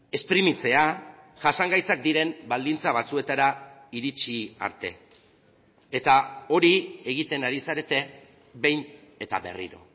esprimitzea jasangaitzak diren baldintza batzuetara iritsi arte eta hori egiten ari zarete behin eta berriro